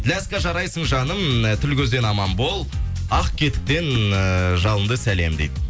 ляска жарайсың жаным тіл көзден аман бол ақкетіктен жалынды сәлем дейді